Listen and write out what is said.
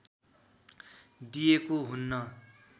दिएको हुन्न।